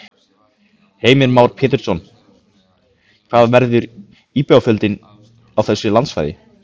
Heimir Már Pétursson: Hvað verður íbúafjöldinn á þessu landsvæði?